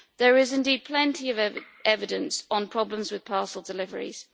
There is indeed plenty of evidence on problems with parcel deliveries.